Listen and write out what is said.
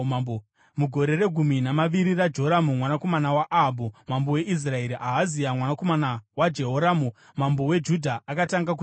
Mugore regumi namaviri raJoramu, mwanakomana waAhabhu, mambo weIsraeri, Ahazia, mwanakomana waJehoramu, mambo weJudha akatanga kutonga.